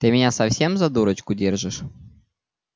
ты меня совсем за дурочку держишь